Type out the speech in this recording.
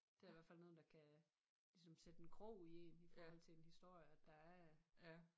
Det er i hvert fald noget der kan ligesom sætte en krog i én i forhold til en historie at der er